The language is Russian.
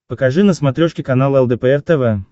покажи на смотрешке канал лдпр тв